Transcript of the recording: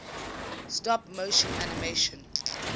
stop motion animation